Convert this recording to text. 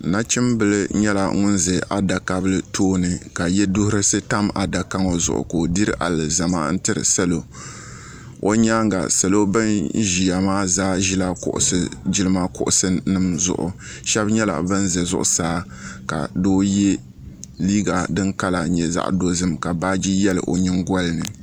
Nachim bila nyɛla ŋuni za adaka bila tooni ka yiɛduhirisi yam adaka ŋɔ zuɣu ka o diri alizama tiri salo o yɛanga salo bini ziya maa zaa zila jilima kuɣusi zuɣu shɛba nyɛla bani zi zuɣusaa ka doo ye liiga dini kala nyɛ zaɣi dozim ka baaji yiɛli o yiŋgoli ni.